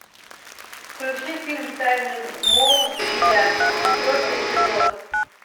включи фильм тайны смолвиля четвертый эпизод